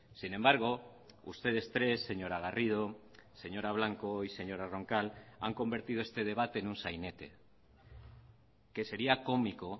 sin embargo ustedes tres señora garrido señora blanco y señora roncal han convertido este debate en un sainete que sería cómico